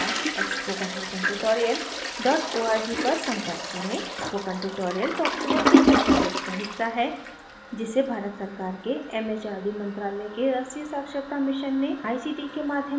spoken tutorial talk to a teacher project का हिस्सा है जिसे भारत सरकार के एमएचआरडी मंत्रालय के राष्ट्रीय साक्षरता मिशन ने आई सीटी ict के माध्यम से समर्थित किया है